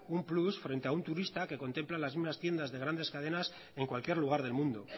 un plus frente a un turista que contempla las mismas tiendas de grandes cadenas en cualquier lugar del mundo